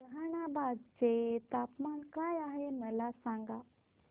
जहानाबाद चे तापमान काय आहे मला सांगा